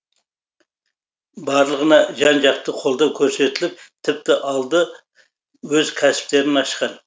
барлығына жан жақты қолдау көрсетіліп тіпті алды өз кәсіптерін ашқан